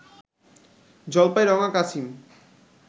জলপাইরঙা কাছিম